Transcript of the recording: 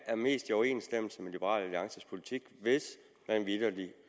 er mest i overensstemmelse med liberal alliances politik hvis man vitterlig